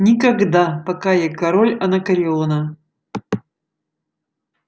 никогда пока я король анакреона